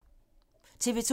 TV 2